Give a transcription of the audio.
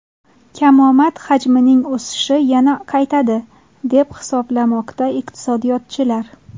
Kamomad hajmining o‘sishi yana qaytadi, deb hisoblamoqda iqtisodiyotchilar.